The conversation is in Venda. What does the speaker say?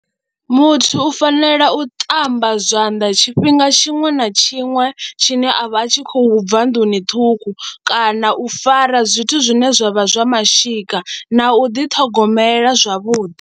Muthu u fanela u ṱamba zwanḓa tshifhinga tshiṅwe na tshiṅwe tshine a vha a tshi khou bva nḓuni ṱhukhu kana u fara zwithu zwine zwa vha zwa mashika na u ḓiṱhogomela zwavhuḓi.